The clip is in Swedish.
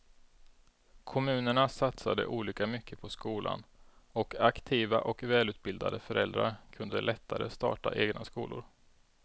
Kommunerna satsade olika mycket på skolan och aktiva och välutbildade föräldrar kunde lättare starta egna skolor.